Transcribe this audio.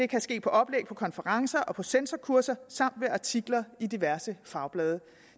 kan ske på oplæg på konferencer og på censorkurser samt ved artikler i diverse fagblade